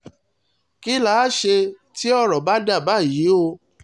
kí là á ṣe tí ọ̀rọ̀ bá dà báyìí o